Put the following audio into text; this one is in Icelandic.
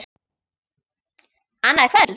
Annað kvöld??